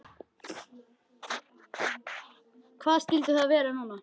Hvað skyldi það vera núna?